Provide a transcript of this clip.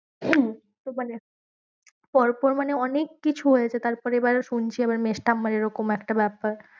হম তো মানে পর পর মানে অনেক কিছু হয়েছে তারপরে এবার শুনছি আমার মেজ ঠাম্মার এরকম একটা ব্যাপার।